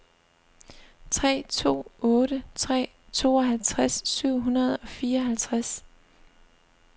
tre to otte tre tooghalvtreds syv hundrede og fireoghalvtreds